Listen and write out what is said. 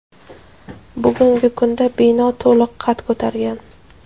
bugungi kunda bino to‘liq qad ko‘targan.